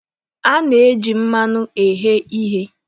A na-eji mmanụ eghe ihe.